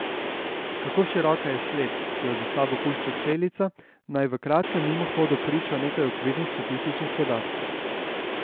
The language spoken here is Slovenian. Kako široka je sled, ki jo za sabo pušča Celica naj v kratkem mimohodu priča nekaj okvirnih statističnih podatkov.